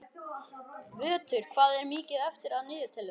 Vöttur, hvað er mikið eftir af niðurteljaranum?